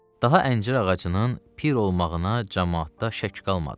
Daha əncir ağacının pir olmağına camaatda şək qalmadı.